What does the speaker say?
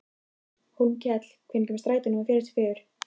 Hólmkell, hvenær kemur strætó númer fjörutíu og fjögur?